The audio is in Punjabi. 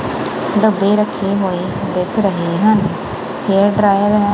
ਡੱਬੇ ਰੱਖੇ ਹੋਏ ਦਿਸ ਰਹੇ ਹਨ ਹੇਅਰ ਡਰਾਇਰ ਹੈ।